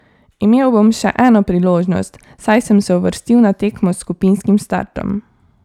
Imel bom še eno priložnost, saj sem se uvrstil na tekmo s skupinskim startom.